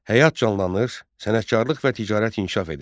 Həyat canlanır, sənətkarlıq və ticarət inkişaf edirdi.